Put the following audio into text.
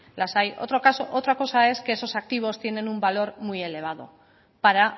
las hay otra cosa es que esos activos tiene un valor muy elevado para